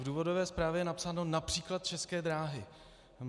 V důvodové zprávě je napsáno "například České dráhy".